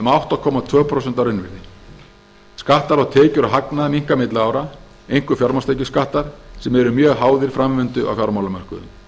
átta komma tvö prósent að raunvirði skattar á tekjur og hagnað minnka milli ára einkum fjármagnstekjuskattar sem eru mjög háðir framvindu á fjármálamörkuðum